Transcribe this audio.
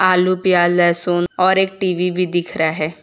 आलू प्याज लहसुन और एक टी_वी भी दिख रहा है।